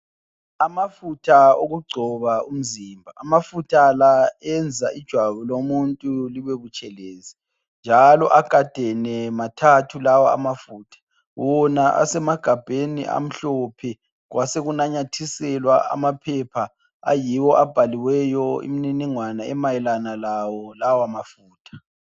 Amafutha okugcoba umzimba. Amafutha la enza ijwabu lomuntu libe butshelezi njalo agadene mathathu lawa amafutha. Wona semagabheni amhlophe kwasekunanyathiselwa amaphepha ayiwo abhaliweyo imniningwana emayelana lawo lawa mafutha.